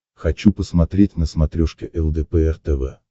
хочу посмотреть на смотрешке лдпр тв